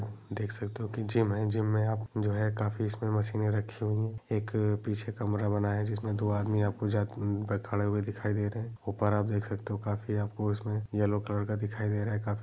देख सकते हो की जिम है जिम आप में जो है काफी मशीने रखी हुई है एक पीछे कमरा बना है जिसमें आपको दो आदमी जाते हुए खड़े दिखाई दे रहें है ऊपर आप देख सकते हो काफी आपको इसमें येलो कलर का दिखाई दे रहा है काफी--